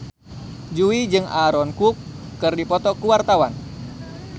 Jui jeung Aaron Kwok keur dipoto ku wartawan